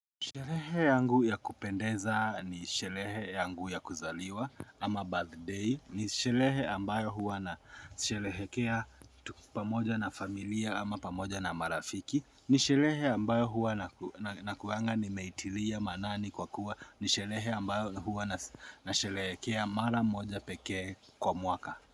Sherehe yangu ya kupendeza, ni sherehe yangu ya kuzaliwa ama birthday, ni sherehe ambayo huwa nasherehekea pamoja na familia ama pamoja na marafiki, ni sherehe ambayo huwa nakuanga nimeitilia maanani kwa kuwa ni sherehe ambayo huwa nasherehekea mara moja pekee kwa mwaka.